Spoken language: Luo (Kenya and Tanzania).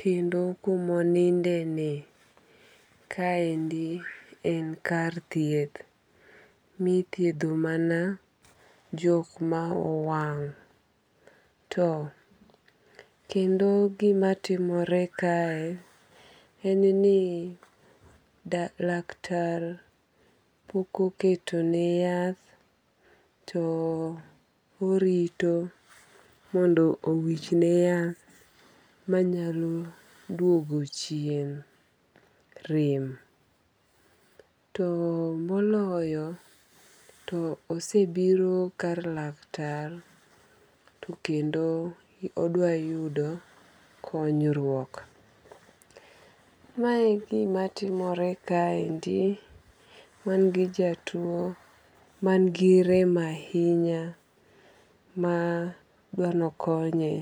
kendo kumoninde ni kaendi en kar thieth mithiedho mana jok ma owang'. To kendo gima timore kae en ni laktar pok oketo ne yath to orito mondo owich ne yath manyalo duogo chien rem. To moloyo, to osebiro kar laktar tokendo odwa yudo konyruok. Mae gimatimore kaendi wan gi jatuo man gi rem ahinya ma dwa ni okonye.